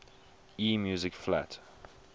e music flat